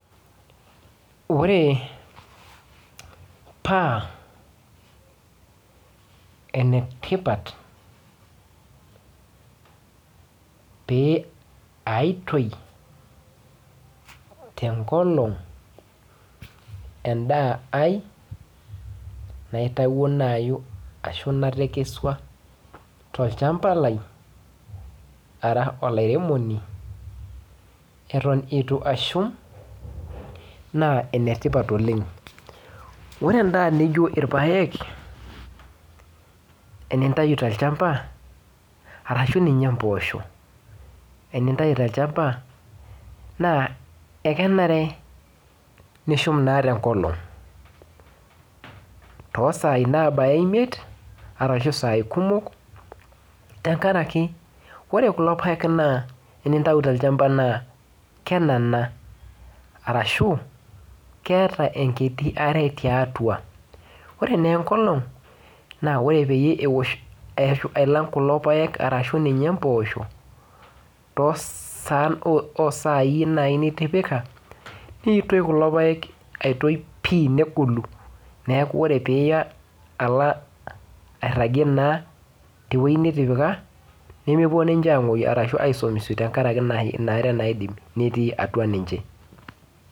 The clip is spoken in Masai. Ore paa enetipaat pee aitooi te nkolong' endaa ai neitawunayu ashu naitekeshua to lchambaa lai ara olairemonii etoon etua ashuum naa enetipaat oleng. Ore ndaa nijoo lpaek enitayuu te lchambaa arashu ninyee mboosho tinitayu te lchambaa naa ekeneere nishuum naa te nkolong' to sai nabayaa emiet arashu saai kumook teng'araki ore kuloo lpaek naa tinitayu to lshambaa naa kenana arashu keeta enkitii aare te atua. Ore nee enkolong' naa ore peiye oosh ailaang' kuloo lpaek arashu ninyee mboosho to saan osai naii nitipika, neitooi kuloo lpaek aitoii pii negoluu. Neeku ore pii iyaa alaa airagie naa te wueji nitipaa nemepoo ninchee aimoyuu arashu aisamisie tang'araki enia aare naa naidiim netii atua ninchee.